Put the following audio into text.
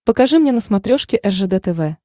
покажи мне на смотрешке ржд тв